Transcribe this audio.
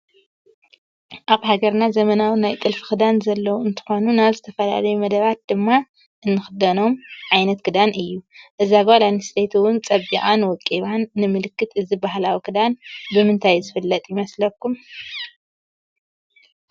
አብ ሃገርና ዘመናዊ ናይ ጥልፊ ክዳን ዘለዎ እንትኮኑ ናብ ዝትፈላለዩ መደባት ድማ እንክደኖም ዓይነት ክዳን እዩ እዛ ጋል አነስተይቲ እውን ፀቢቃን ወቂባን ንምልክት እዚ ባህላዊ ክዳን ብምንታይ ዝጥለፍ ይመስልኩም?